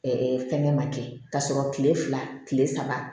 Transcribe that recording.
fɛngɛ ma kɛ k'a sɔrɔ kile fila kile saba